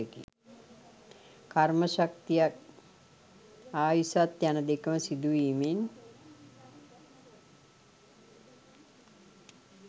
කර්ම ශක්තියත් ආයුෂත් යන දෙකම සිදුවීමෙන්